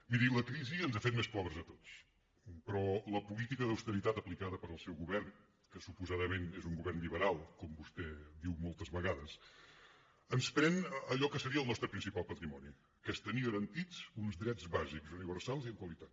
miri la crisi ens ha fet més pobres a tots però la política d’austeritat aplicada pel seu govern que suposadament és un govern liberal com vostè diu moltes vegades ens pren allò que seria el nostre principal patrimoni que és tenir garantits uns drets bàsics universals i amb qualitat